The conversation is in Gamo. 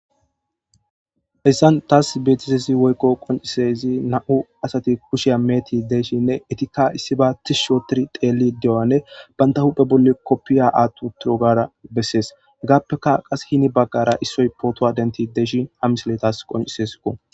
hessan taas betisesi woykko qoncisezi na7u asati kusheya meeti deeshshinne etikka issiba tis shootir teelli de7oanne banta huphe bolli koppiya aattu turogara bessees hegaappeka qas hini baggara issoy pootowa denti deeshi hamisiletas qoncisesko